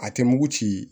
A tɛ mugu ci